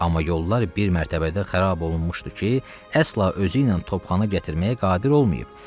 Amma yollar bir mərtəbədə xarab olunmuşdu ki, əsla özü ilə topxana gətirməyə qadir olmayıb.